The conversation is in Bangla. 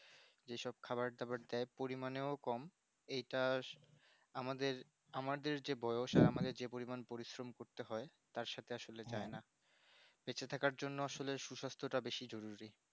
যে সব খাবার দাবার গুলো দায়ে পরিমাণেও কম এটা আমাদের যে বয়স আমাদের যে পরিমানে পরিশ্রম করতে হয় তার সাথে আসলে যায়না বেঁচে থাকার জন্য আসলে সুসাস্থ টা বেশি জরুরি